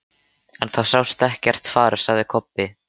En það sást ekkert far, sagði Kobbi.